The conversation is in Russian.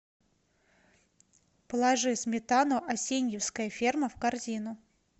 положи сметану асеньевская ферма в корзину